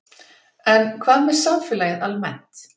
En hvað með samfélagið almennt?